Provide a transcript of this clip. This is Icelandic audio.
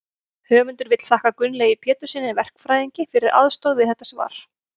höfundur vill þakka gunnlaugi péturssyni verkfræðingi fyrir aðstoð við þetta svar